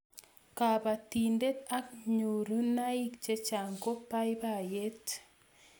kabatindet ak nyoruniaik chechang ko baibaiet